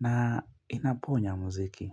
na inaponya mziki.